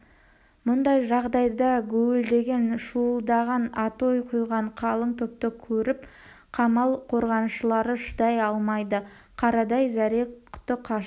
мұндай жағдайда гуілдеген шуылдаған атой қойған қалың топты көріп қамал қорғаншылары шыдай алмайды қарадай зәре-құты қашып